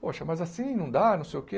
Poxa, mas assim não dá, não sei o que.